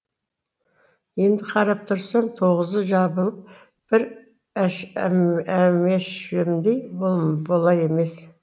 енді қарап тұрсам тоғызы жабылып бір әмешімдей болар емес